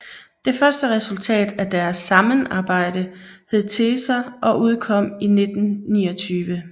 Det første resultat af deres sammenarbejde hed Teser og udkom i 1929